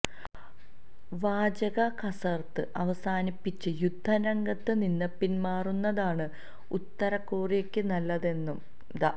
വാചക കസര്ത്ത് അവസാനിപ്പിച്ച് യുദ്ധ രംഗത്ത് നിന്ന് പിന്മാറുന്നതാണ് ഉത്തര കൊറിയക്ക് നല്ലതെന്നും ദ